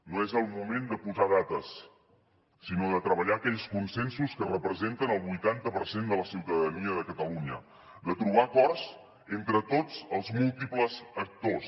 no és el moment de posar dates sinó de treballar aquells consensos que representen el vuitanta per cent de la ciutadania de catalunya de trobar acords entre tots els múltiples actors